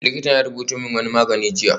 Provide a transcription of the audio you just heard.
Likitan ya rubuto min wani magani jiya